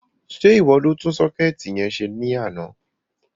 Sé ìwọ ni o tún sọ́kẹ̀tì yẹn se ní àná?